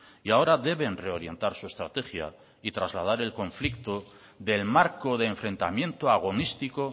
y ahora deben reorientar su estrategia y trasladar el conflicto del marco de enfrentamiento agonístico